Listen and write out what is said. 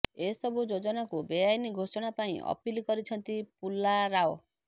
ଏସବୁ ଯୋଜନାକୁ ବେଆଇନ ଘୋଷଣା ପାଇଁ ଅପିଲ କରିଛନ୍ତି ପୁଲାରାଓ